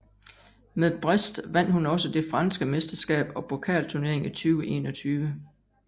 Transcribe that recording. Med Brest vandt hun også det franske mesterskab og pokalturnering i 2021